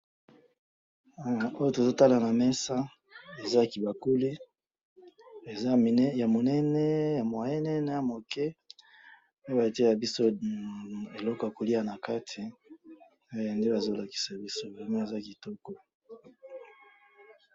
Eh! Oyo tozotala namesa eza kibakuli, eza mine yamunene yamwayene nayamuke, oyo batyelaka biso eloko yakoliya nakati, eh! Nde bazolakisa biso, vraiment eza kitoko.